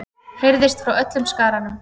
heyrðist frá öllum skaranum.